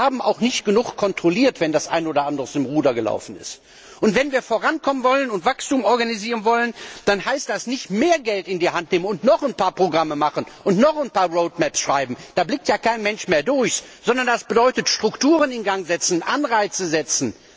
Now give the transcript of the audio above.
Wir haben auch nicht genug kontrolliert, wenn das ein oder andere aus dem Ruder gelaufen ist. Wenn wir vorankommen wollen und Wachstum organisieren wollen, dann heißt das nicht noch mehr Geld in die Hand nehmen und noch ein paar Programme machen und noch ein paar Road Maps schreiben da blickt ja kein Mensch mehr durch sondern das bedeutet Strukturen in Gang setzen, Anreize setzen.